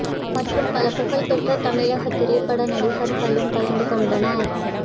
மற்றும் பல புகழ்பெற்ற தமிழ்த் திரைப்பட நடிகர்களும் கலந்து கொண்டனர்